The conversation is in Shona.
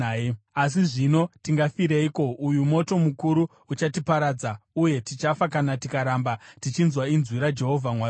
Asi zvino, tingafireiko? Uyu moto mukuru uchatiparadza, uye tichafa kana tikaramba tichinzwa inzwi raJehovha Mwari wedu.